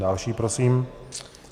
Další prosím.